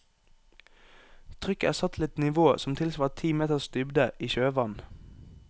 Trykket er satt til et nivå som tilsvarer ti meters dybde i sjøvann.